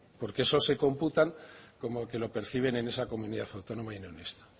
porque esos se computan como que lo perciben en esa comunidad autónoma y no en esta